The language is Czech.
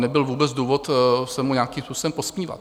Nebyl vůbec důvod se mu nějakým způsobem posmívat.